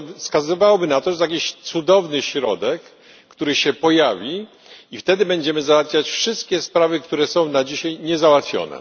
To wskazywałoby na to, że jest jakiś cudowny środek, który się pojawi, i wtedy będziemy załatwiać wszystkie sprawy, które są na dzisiaj niezałatwione.